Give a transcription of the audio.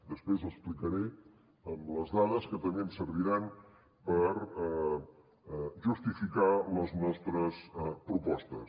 després ho explicaré amb les dades que també em serviran per justificar les nostres propostes